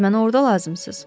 Siz mənə orda lazımsız.